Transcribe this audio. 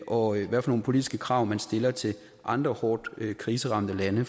og hvad for nogle politiske krav man stiller til andre hårdt kriseramte lande